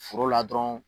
Foro la dɔrɔn